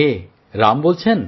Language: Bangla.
কে রাম বলছেন